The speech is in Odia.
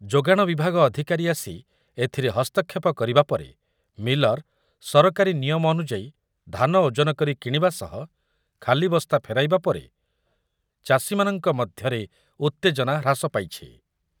ଯୋଗାଣ ବିଭାଗ ଅଧିକାରୀ ଆସି ଏଥିରେ ହସ୍ତକ୍ଷେପ କରିବା ପରେ ମିଲର, ସରକାରୀ ନିୟମ ଅନୁଯାୟୀ ଧାନ ଓଜନ କରି କିଣିବା ସହ ଖାଲି ବସ୍ତା ଫେରାଇବା ପରେ ଚାଷୀମାନଙ୍କ ମଧ୍ୟରେ ଉତ୍ତେଜନା ହ୍ରାସ ପାଇଛି ।